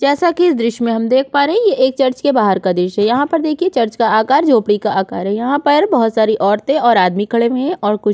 जैसा कि इस दृश्य में हम देख पा रहे है ये एक चर्च के बाहर का दृश्य है यहाँ पर देखिए चर्च का आकार झोपड़ी का आकार है यहाँ पर बहुत सारी औरतें और आदमी खड़े हुए है और कुछ--